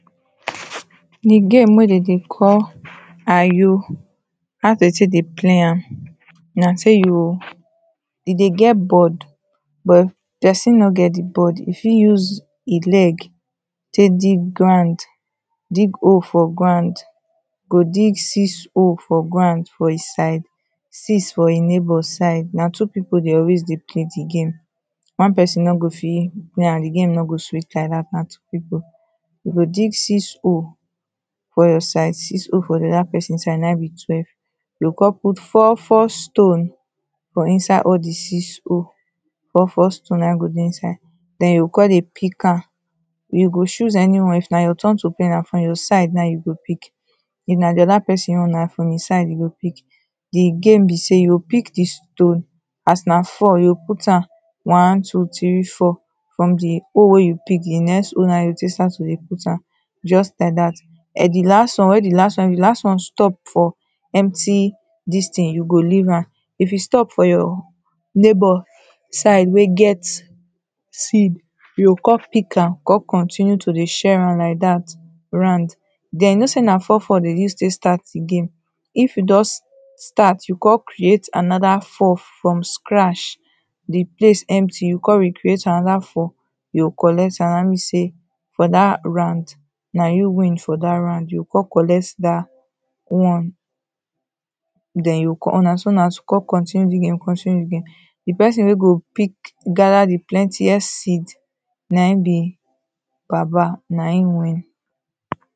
The game wey dem dey call Ayo, how dem take dey play am na say you o e dey get board but person no get the board, e fit use e leg take dig ground. Dig hole for ground. Go dig six hole for ground for e side, six for e neighbour side. Na two people dey always dey play the game. One pesin no go fit play am. The game no go sweet like dat, na two people. We go dig six hole for your side six hole for the other person side. Na im be twelve. You go con put four four stone for inside all the six hole. Four four stone na im go dey inside. Den you o con dey pick am. You go choose anyone. If na your turn to play na for your side n aim you go pick. If na the other person own, na from im side e go pick. The game be sey, you go pick the stone, as na four you go put am one, two, three, four. From the hole wey you pick, the next hole na im you go take start to dey put am just like dat. um the last one where the last one, if last one stop for empty dis thing, you go leave am. If e stop for your neighbour side wey get seed, you go come pick am, con continue to dey share am like dat round. Den you know sey na four four dem use take start the game. If you don start, you con create another four from scratch the place empty, you con re-create another four, you go collect am. Na im mean sey for dat round na you win for dat round. You o con collect dat one. Den you o con, na so una two na to con continue the game, continue the game. The person wey go pick, gather the plentiest seed, na im be baba. Na im win.